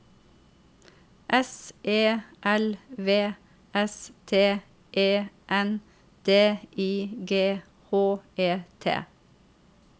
S E L V S T E N D I G H E T